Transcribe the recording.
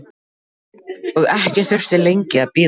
Og ekki þurfti lengi að bíða.